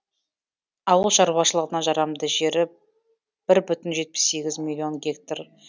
ауыл шаруашылығына жарамды жері бір бүтін жетпіс сегіз миллион гектар